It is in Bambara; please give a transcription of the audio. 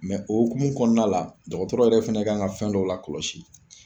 o hokumu kɔnɔna la, dɔgɔtɔrɔ yɛrɛ fɛnɛ kan ka fɛn dɔ la kɔlɔsi.